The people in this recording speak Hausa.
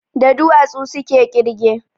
Da duwatsu suke ƙirge